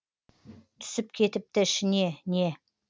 түсіп кетіпті ішіне не